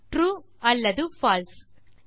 true அல்லது பால்சே